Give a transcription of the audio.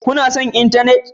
Kuna son intanet?